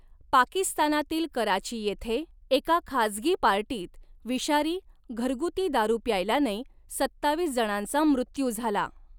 पाकिस्तानातील कराची येथे एका खाजगी पार्टीत विषारी, घरगुती दारू प्यायल्याने सत्तावीस जणांचा मृत्यू झाला.